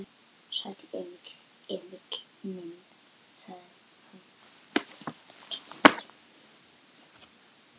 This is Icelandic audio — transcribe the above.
Sæll, Emil minn, sagði hann.